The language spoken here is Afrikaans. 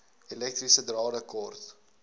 elektriese drade kort